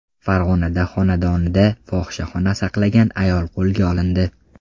Farg‘onada xonadonida fohishaxona saqlagan ayol qo‘lga olindi.